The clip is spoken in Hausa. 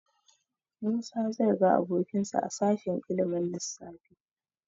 Musa zai ga abokinsa a sashen ilimin lissafi.